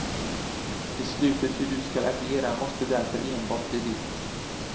Beslutet hur du skall agera måste därför enbart bli ditt.